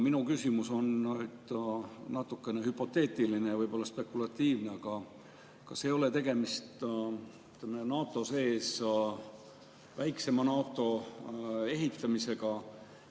Minu küsimus on natukene hüpoteetiline ja spekulatiivne, aga kas ei ole tegemist NATO sees väiksema NATO ehitamisega?